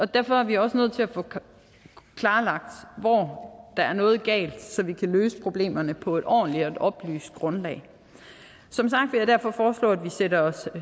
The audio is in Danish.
derfor er vi også nødt til at få klarlagt hvor der er noget galt så vi kan løse problemerne på et ordentligt og et oplyst grundlag som sagt vil jeg derfor foreslå at vi sætter os